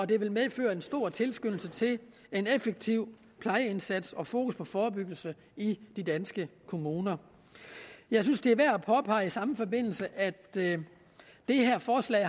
det vil medføre en stor tilskyndelse til en effektiv plejeindsats og sætte fokus på forebyggelse i de danske kommuner jeg synes det er værd at påpege i samme forbindelse at det her forslag